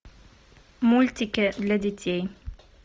мультики для детей